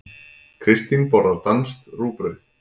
Kristín borðar danskt rúgbrauð.